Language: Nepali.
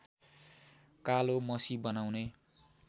कालो मसी बनाउने